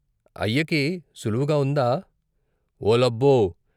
అయ్యకి సులువుగా ఉందా " "ఓ లబ్బో!